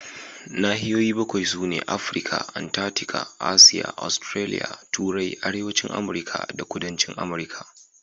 Nahiyoyi bakwai sune: Afirka, Antarctica, Asiya, Australia, Turai, Arewacin Amurka da Kudancin Amurka.